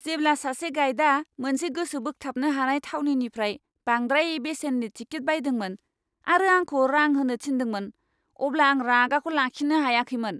जेब्ला सासे गाइडा मोनसे गोसो बोगथाबनो हानाय थावनिनिफ्राय बांद्राय बेसेननि टिकेट बायदोंमोन आरो आंखौ रां होनो थिनदोंमोन, अब्ला आं रागाखौ लाखिनो हायाखैमोन!